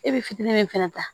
E bɛ fitinin min fɛnɛ ta